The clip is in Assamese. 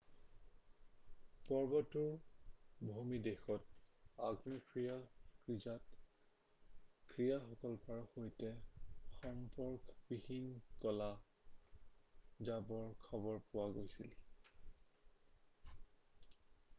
পৰ্বতটোৰ ভূমিদেশত আগ্নেয়গিৰিজাত ক্ৰিয়াকলাপৰ সৈতে সম্পৰ্কবিহীন ক'লা ডাৱৰ খবৰ পোৱা গৈছিল